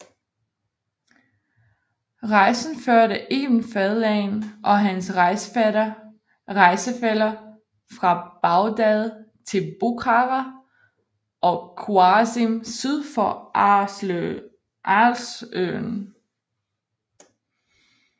Rejsen førte Ibn Fadlan og hans rejsefæller fra Bagdad til Bukhara og Khwarizm syd for Aralsøen